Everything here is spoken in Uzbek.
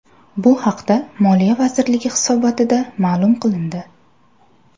Bu haqda Moliya vazirligi hisobotida ma’lum qilindi .